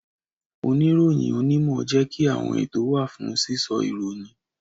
Oniroyin onimo jẹ́ kí àwọn ètò wa fún sísọ ìròyìn